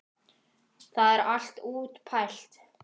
Það er allt útpælt.